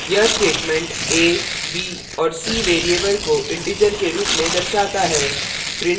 यह statement a b और c variables को इंटीजर के रूप में दर्शाता है